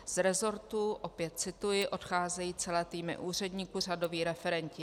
"Z rezortů" - opět cituji - "odcházejí celé týmy úředníků, řadoví referenti.